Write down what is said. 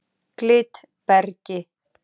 Glitbergi